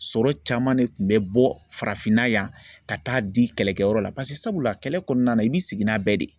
Sɔrɔ caman de tun bɛ bɔ farafinna yan ka taa di kɛlɛkɛyɔrɔ la sabula kɛlɛ kɔnɔna na i bɛ sigi n'a bɛɛ ye de